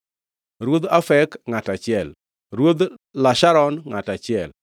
Ruodh Afek, ngʼato achiel, Ruodh Lasharon, ngʼato achiel,